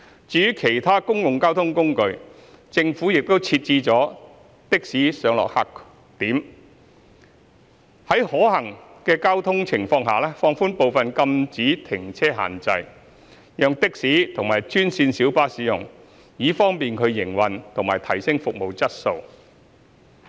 至於其他公共交通工具，政府亦設置了的士上落客點，並在交通情況可行下放寬部分禁止停車限制，讓的士及專線小巴使用，以方便他們營運及提升服務質素。